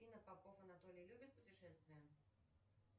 афина попов анатолий любит путешествия